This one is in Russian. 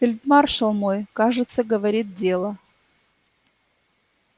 фельдмаршал мой кажется говорит дело